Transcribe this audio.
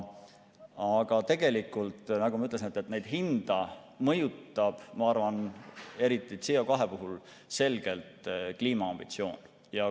Aga nagu ma ütlesin, hinda mõjutab, ma arvan, et eriti CO2 puhul, selgelt kliimaambitsioon.